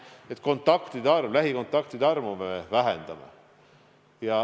Nii me vähendame lähikontaktide arvu.